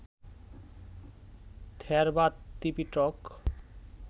Theravada Tipitaka